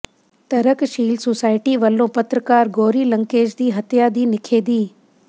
ਤਰਕਸ਼ੀਲ ਸੁਸਾਇਟੀ ਵਲੋਂ ਪੱਤਰਕਾਰ ਗੌਰੀ ਲੰਕੇਸ਼ ਦੀ ਹੱਤਿਆ ਦੀ ਨਿਖੇਧੀ